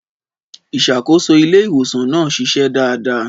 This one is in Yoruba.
Ìṣàkóso ilé ìwòsàn náà ṣiṣẹ́ dáadáa.